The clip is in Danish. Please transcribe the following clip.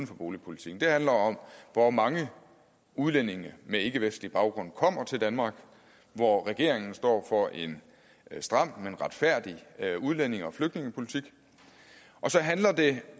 for boligpolitikken det handler om hvor mange udlændinge med ikkevestlig baggrund kommer til danmark hvor regeringen står for en stram men retfærdig udlændinge og flygtningepolitik og så handler det